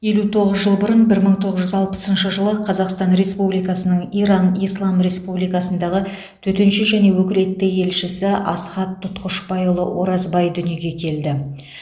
елу тоғыз жыл бұрын бір мың тоғыз жүз алпысыншы жылы қазақстан республикасының иран ислам республикасындағы төтенше және өкілетті елшісі асхат тұтқышбайұлы оразбай дүниеге келді